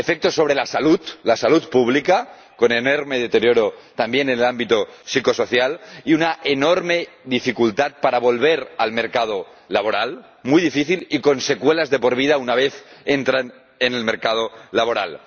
efectos sobre la salud, la salud pública, con enorme deterioro también el ámbito psicosocial, y una enorme dificultad para volver al mercado laboral, muy difícil, y con secuelas de por vida una vez entran en el mercado laboral.